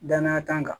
Danaya kan